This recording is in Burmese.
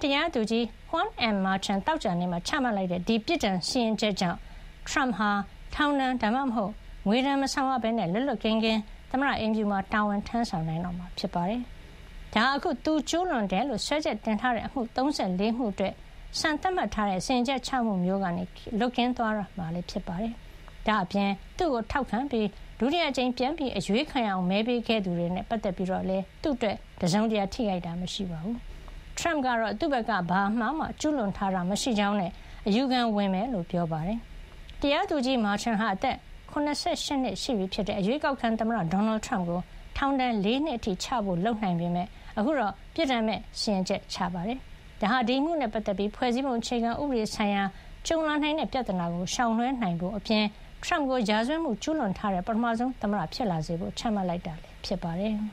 တရားသူကြီး Juan M. Merchan သောကြာနေ့မှာ ချမှတ်လိုက်တဲ့ ဒီ ပြစ်ဒဏ်စီရင်ချက် ကြောင့် ထရမ့်ဟာ ထောင်ဒဏ် ဒါမှမဟုတ် ငွေဒဏ် မဆောင်ရပဲ လွတ်လွတ်ကင်းကင်း သမ္မတအိမ်ဖြူတော်မှာ တာဝန်ထမ်းဆောင် နိုင်တော့မှာ ဖြစ်ပါတယ်။ ဒါဟာ အခု သူကျူးလွန်တယ်လို့ စွဲချက်တင်ထားတဲ့ အမှု ၃၄ မှု အတွက် စံသတ်မှတ်ထားတဲ့ စီရင်ချက်ချမှု မျိုးကနေ လွတ်ကင်းသွားတော့မှာလည်း ဖြစ်ပါတယ်။ ဒါ့အပြင် သူ့ကို ထောက်ခံပြီး ဒုတိယအကြိမ် ပြန်အရွေးခံရအောင် မဲပေးခဲ့သူတွေနဲ့ ပတ်သက်ပြီးလည်း သူ့အတွက် တစုံတရာ ထိခိုက်တာ မရှိပါဘူး။ ထရမ့်ကတော့ သူ့ဘက်က ဘာအမှားမှ ကျူးလွန်ထားတာ မရှိကြောင်းနဲ့ အယူခံဝင်မှာ ဖြစ်ကြောင်း ပြောပါတယ်။ တရားသူကြီး Merchan ဟာ အသက် ၇၈ နှစ်ရှိပြီဖြစ်တဲ့ အရွေးကောက်ခံ သမ္မတ ဒေါ်နယ်ထရမ့်ကို ထောင်ဒဏ် ၄ နှစ် အထိ ချဖို့ လုပ်နိုင်ပေမယ့် အခုတော့ ပြစ်ဒဏ်မဲ့ စီရင်ချက် ချခဲ့တာပါ။ ဒါဟာ ဒီအမှုနဲ့ ပတ်သက်ပြီး ဖွဲ့စည်းပုံ အခြေခံဥပဒေ ဆိုင်ရာ ကြုံလာနိုင်တဲ့ ပြဿနာကို ရှောင်လွှဲနိုင်ဖို့အပြင် ထရမ့်ကို ရာဇဝတ်မှု ကျူးလွန်ထားတဲ့ ပထမဆုံး သမ္မတ ဖြစ်လာစေဖို့ ချမှတ်တာ ဖြစ်ပါတယ်။